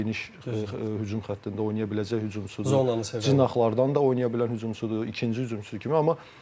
Geniş hücum xəttində oynaya biləcək hücumçudur, cıraqlardan da oynaya bilən hücumçudur, ikinci hücumçudur kimi.